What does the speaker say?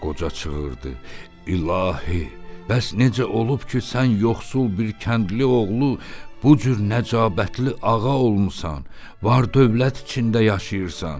Qoca çığırdı: "İlahi, bəs necə olub ki, sən yoxsul bir kəndli oğlu bu cür nəcabətli ağa olmusan, var-dövlət içində yaşayırsan?